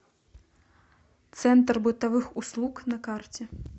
центр бытовых услуг на карте